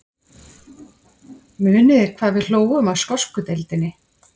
Muniði hvað við hlógum að skosku deildinni?